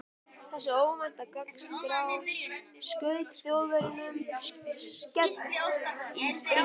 Þessi óvænta gagnárás skaut Þjóðverjunum skelk í bringu.